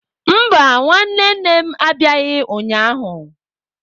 Mba, nwanne nne m abịaghị ụnyahụ.